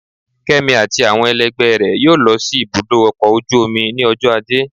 Kemi atí awọn ẹlẹgbẹ rẹ yóò lọ si ibudọ ọkọ ojú omí ni ọjọ ajé.